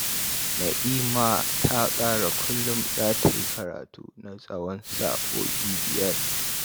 Na'ima ta tsara kullum za ta yi karatu na tsawon sa'o'i biyar